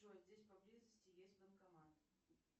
джой здесь поблизости есть банкомат